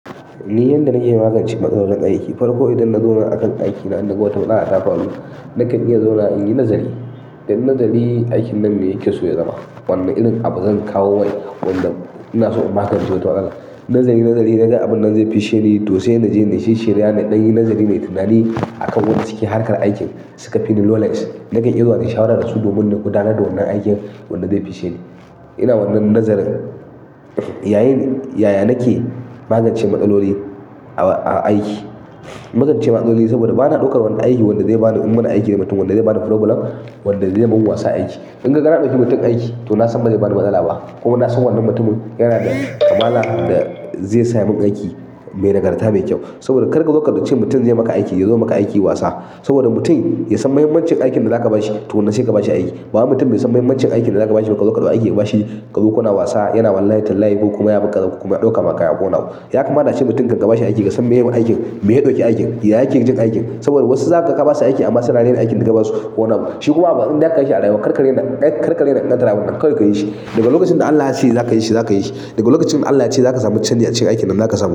Ni yanda na iya magance matsalolin aiki, farko idan na zo ma akan aikina, inna naga wata matsala ta faru, nakan iya zauna in yi nazari. Inyi nazari, aikin nan me yake so ya zama. Wanne irin abu zan kawo mai wanda inaso in magance wata matsala, zanyi nazari inga abun zai ficce ni to sai naje na shisshirya na ɗanyi nazari mai tunani akan wanda suke harkar aikin suka fini knowledge. Nakan iya zuwa nai shawarar da su domin su gudanar da wannan aikin wanda zai fissheni. Ina wannan nazarin, yayin yaya nake magance matsaloli a aiki? Magance matsaloli saboda bana ɗaukar wani aiki wanda zai bani, munana aiki da mutum wanda zai bani problem, wanda zai min wasa aiki. In kaga na ɗauki mutum aiki to na san ba zai bani matsala ba ko ma na san wannan mutumin yana da kamala da zai sa yamun aiki mai nagarta mai kyau. Saboda kar kazo ce mutun zai maka aiki yazo yayi maka aiki wasa saboda mutum ya san mahimmancin aikin da za ka ba shi to wannan sai ka ba shi aiki. Bawaimutum mai son mahimmancin aikin da za ka ba shi, barka zo ka ɗauki aiki ka ba shi, ka kuna wasa yana wallahi tallahi ko kuma ya bi kaza ko kuma ya ɗauka ma kaya ko wane abu. Ya kamata ce mutum kanka ba shi aiki ka san me ya yi aiki, me ya ɗauki aikin, ya yake jin aikin. Saboda wasu za ka ba su aiki amma suna raina aikin da ka ba su ko wani abu. Shi kuwa in zaka yi shi a rayuwa, karka rena, karka rena ƙaddara abunka, kawai ka yi shi. Daga lokacin da Allah ya ce za ka yi shi, za ka yi shi. Daga lokacin da Allah ya ce za ka samu canji a cikin aikinnan zaka samu.